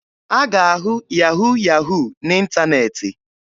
A ga-ahụ yahu yahu n'ịntaneetị.